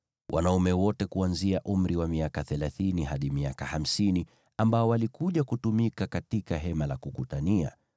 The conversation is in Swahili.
Wanaume wote kuanzia umri wa miaka thelathini hadi miaka hamsini ambao walikuja kutumika katika Hema la Kukutania,